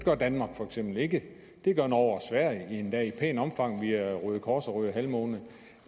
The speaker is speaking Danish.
gør danmark for eksempel ikke det gør norge og sverige endda i et pænt omfang via røde kors og røde halvmåne